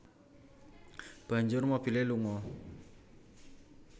Banjur mobilé lunga